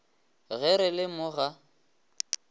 ge re le mo ga